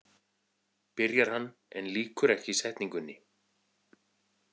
, byrjar hann en lýkur ekki setningunni.